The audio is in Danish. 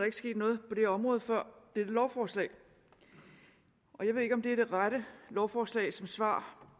ikke sket noget på det område før dette lovforslag jeg ved ikke om det er det rette lovforslag som svar